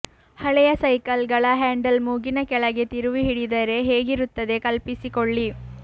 ಹಳೆಯ ಸೈಕಲ್ಗಳ ಹ್ಯಾಂಡಲ್ ಮೂಗಿನ ಕೆಳಗೆ ತಿರುವಿ ಹಿಡಿದರೆ ಹೇಗಿರುತ್ತದೆ ಕಲ್ಪಿಸಿಕೊಳ್ಳಿ